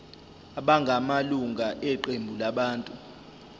abangamalunga eqembu labantu